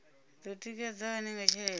do tikedzwa hani nga tshelede